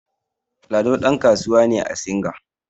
Lado ɗankasuwa ne a singa